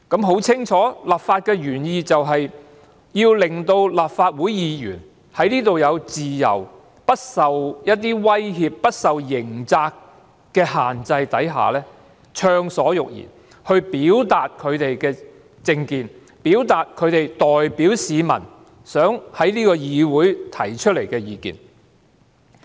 很清楚，立法原意就是要令立法會議員在會議廳內有自由、不受威脅、不受刑責的限制下暢所欲言，表達他們的政見，表達他們代表市民想在這個議會提出的意見。